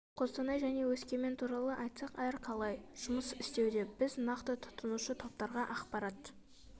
қостанай және өскемен туралы айтсақ әр қалай жұмыс істеуде біз нақты тұтынушы топтарға ақпарт